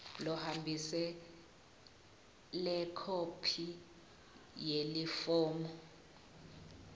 lohambise lekhophi yalelifomu